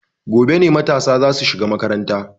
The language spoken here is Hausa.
Gobe ne matasa za su shiga makaranta.